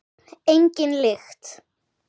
Engin lykt.